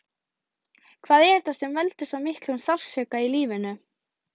Hvað er þetta sem veldur svo miklum sársauka í lífinu?